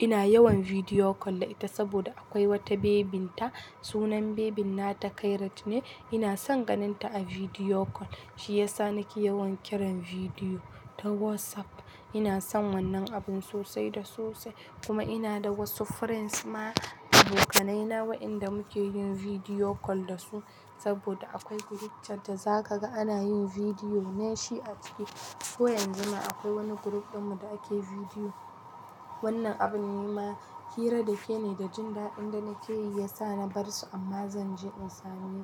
Ina yawan bidiyo call da ita saboda akwai wata babynta. Sunan babyn nata Kairat ne. Ina son ganin ta a bidiyo call. Shi ya sa nake yawan kiran bidiyo ta WhatsApp. Ina son wannan abun sosai da sosai kuma ina da wasu friends ma, abokanaina waƴanda muke yin bidiyo call da su, saboda akwai group chat da za ka ga ana yin bidiyo ne shi a ciki. Ko yanzu ma akwai wani group ɗinmu da ake bidiyo. Wannan abun nema ma hira da ke ne da jin daɗin da nake yi ya sa na bar su amma zanje in same.